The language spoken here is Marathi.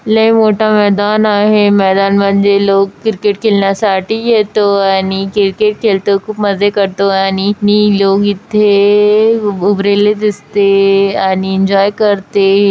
लई मोठा मैदान आहे मैदानमध्ये लोग क्रिकेट खिलण्यासाठी येतो आणि क्रिकेट खेलतो खूप मजे करतो आणि नि लोग इथे उबरेले दिसते आणि एन्जॉय करते.